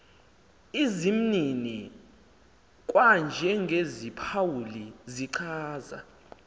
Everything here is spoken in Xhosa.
izimnini kwanjengeziphawuli zichaza